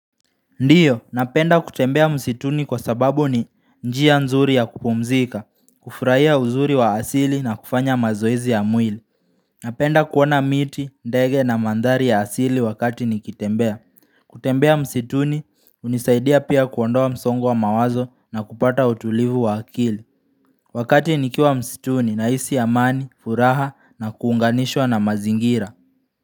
Ndiyo, napenda kutembea msituni kwa sababu ni njia nzuri ya kupumzika, kufurahia uzuri wa asili na kufanya mazoezi ya mwili. Napenda kuona miti, ndege na mandhari ya asili wakati nikitembea. Kutembea msituni, hunisaidia pia kuondoa msongo wa mawazo na kupata utulivu wa akili. Wakati nikiwa msituni na isi amani, furaha na kuunganishwa na mazingira.